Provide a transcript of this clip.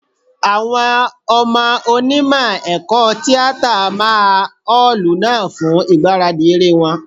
Àwọn ọmọ Onímọ̀ ẹ̀kọ́ tíátà máa ọ́ọ̀lù náà fún ìgbáradì eré wọn.